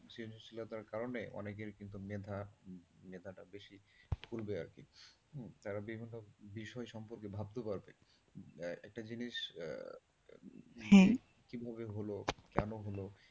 সৃজনশীলতার কারণে অনেকেরই কিন্তু মেধা মেধাটা বেশি খুলবে আরকি উম কারণ তারা বিষয় সম্পর্কে ভাবতে পারবে, একটা জিনিস হ্যাঁ কিভাবে হল, কেন হল,